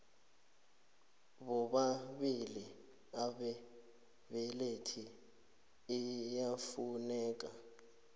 bobabili ababelethi iyafuneka